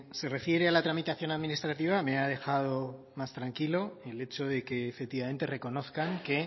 se refiere a la tramitación administrativa me ha dejado más tranquilo el hecho de que efectivamente reconozcan que